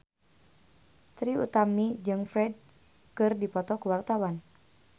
Trie Utami jeung Ferdge keur dipoto ku wartawan